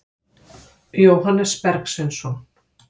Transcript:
Jóhannes Bergsveinsson.